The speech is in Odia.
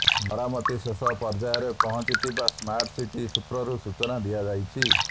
ମରାମତି ଶେଷ ପର୍ଯ୍ୟାୟରେ ପହଞ୍ଚିଥିବା ସ୍ମାର୍ଟସିଟି ସୂତ୍ରରୁ ସୂଚନା ଦିଆଯାଇଛି